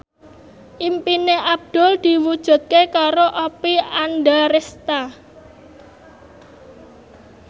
impine Abdul diwujudke karo Oppie Andaresta